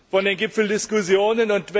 von den Gipfeldiskussionen.